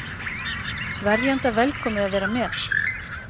Verjanda velkomið að vera með